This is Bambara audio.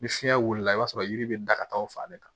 Ni fiɲɛ wulila i b'a sɔrɔ yiri bɛ da ka taa o fan de kan